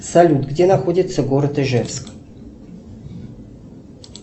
салют где находится город ижевск